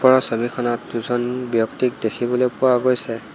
ওপৰৰ ছবিখনত দুজন ব্যক্তিক দেখিবলৈ পোৱা গৈছে।